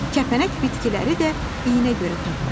Kəpənək bitkiləri də iyinə görə tapır.